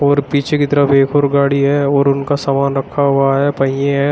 और पीछे की तरफ एक और गाड़ी है और उनका सामान रखा हुआ है पहिए हैं।